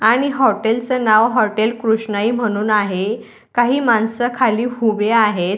आणि हॉटेल्स च नाव हॉटेल कृष्णाई म्हणून आहे. काही माणसं खाली हुबे आहेत.